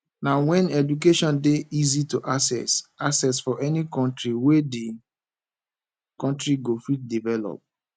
na when education dey easy to access access for any country wey de country go fit develop